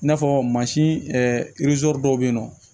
I n'a fɔ mansin dɔw bɛ yen nɔ